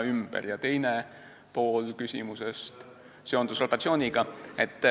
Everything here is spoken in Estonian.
Teine pool küsimusest oli seotud rotatsiooniga.